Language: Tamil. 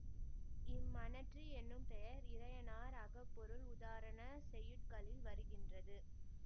இம்மணற்றி என்னும் பெயர் இறையனார் அகப்பொருள் உதாரணச் செய்யுட்களில் வருகின்றது